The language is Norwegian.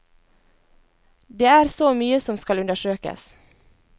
Det er så mye som skal undersøkes.